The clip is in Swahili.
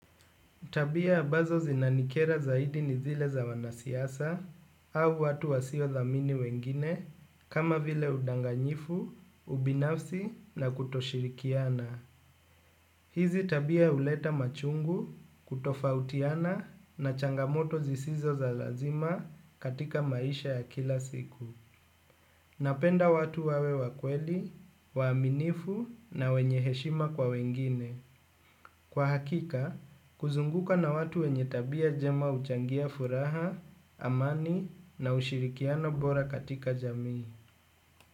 Tabia ambazo zinanikera zaidi ni zile za wanasiasa au watu wasio dhamini wengine kama vile udanganyifu, ubinafsi na kutoshirikiana. Hizi tabia huleta machungu, kutofautiana na changamoto zisizo za lazima katika maisha ya kila siku. Napenda watu wawe wa kweli, waaminifu na wenye heshima kwa wengine. Kwa hakika, kuzunguka na watu wenye tabia njema huchangia furaha, amani na ushirikiano bora katika jamii.